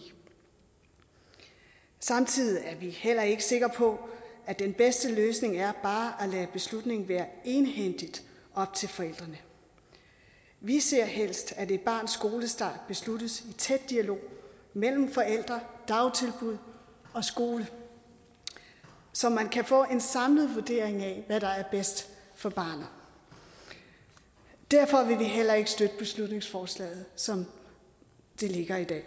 samtidig er vi heller ikke sikre på at den bedste løsning er bare at lade beslutningen være egenhændigt op til forældrene vi ser helst at et barns skolestart besluttes i tæt dialog mellem forældre dagtilbud og skole så man kan få en samlet vurdering af hvad der er bedst for barnet derfor vil vi heller ikke støtte beslutningsforslaget som det ligger i dag